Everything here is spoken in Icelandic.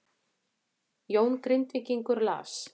Jón Grindvíkingur las